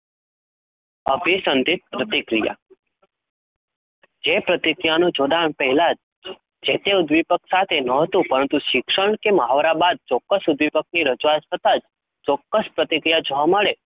અભિસંધિત પ્રતિક્રિયા જે પ્રતિક્રિયાનું જોડાણ પહેલા જે તે ઉદ્દીપક સાથે ન હતું પરંતુ શિક્ષણ કે મહાવરા બાદ ચોક્કસ ઉદ્દીપકની રજુઆત થતાં જ ચોક્કસ પ્રતિક્રિયા જોવા મળે